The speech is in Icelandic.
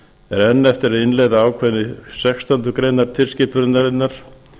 er enn eftir að innleiða ákvæði sextándu grein tilskipunarinnar